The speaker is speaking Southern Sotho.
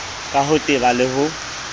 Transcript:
ka ho teba le ho